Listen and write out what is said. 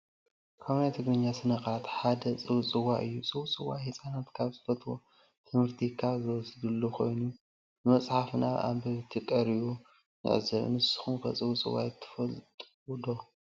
ካብ ናይ ትግርኛ ሰነ ቃላት ሓደ ፀውፀዋይ እዩ። ፀውፀዋይ ህፃናት ካብ ዝፈትዎ ትምህርቲ ካብ ዝወስዱሉ ኮይኑ ብመፀሓፍ ናብ አበብቲ ቀሪቡ ንዕዘብ። ንስኩም ከ ፀውፀዋይ ትፈልጡ ዶ ?